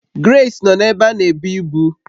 Grace nọ n'ebé a n'ebu ibu